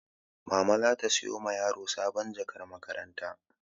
Mama za ta sayo ma yara sabon jakar makaranta.